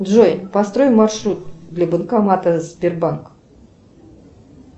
джой построй маршрут для банкомата сбербанк